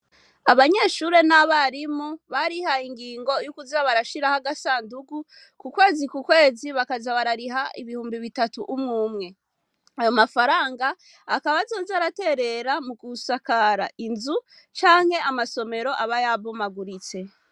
Abanyeshure n'abarimu, barihaye ingingo yo kuza barashiraho agasandugu, ku kwezi ku kwezi bakaza barariha ibihumbi bitatu umwe umwe. Ayo mafaranga akaba azoza araterera mu gusakara inzu, canke amasomero aba yabomaguritse.